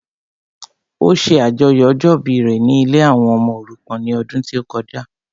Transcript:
Ó ṣe àjọyọ̀ ọjọ́ ìbí rẹ ní ilée àwọn ọmọ òrukàn ní ọdún tí ó kọjá